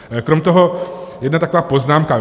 Krom toho jedna taková poznámka.